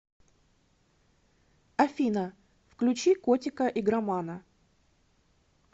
афина включи котика игромана